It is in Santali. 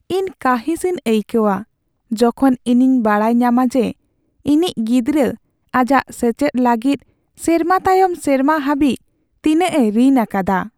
ᱤᱧ ᱠᱟᱺᱦᱤᱥ ᱤᱧ ᱟᱹᱭᱠᱟᱹᱣᱟ ᱡᱚᱠᱷᱚᱱ ᱤᱧᱤᱧ ᱵᱟᱰᱟᱭ ᱧᱟᱢᱟ ᱡᱮ ᱤᱧᱤᱡ ᱜᱤᱫᱽᱨᱟᱹ ᱟᱡᱟᱜ ᱥᱮᱪᱮᱫ ᱞᱟᱹᱜᱤᱫ ᱥᱮᱨᱢᱟ ᱛᱟᱭᱚᱢ ᱥᱮᱨᱢᱟ ᱦᱟᱹᱵᱤᱡ ᱛᱤᱱᱟᱹᱜ ᱮ ᱨᱤᱱ ᱟᱠᱟᱫᱟ ᱾